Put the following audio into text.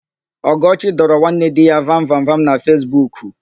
Ọgọchi dọrọ nwanne dị ya vamvamvam na Fesbuku.